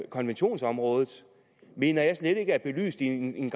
konventionsområdet mener jeg slet ikke er blevet belyst i en